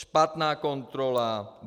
Špatná kontrola.